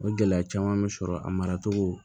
O gɛlɛya caman bɛ sɔrɔ a maracogo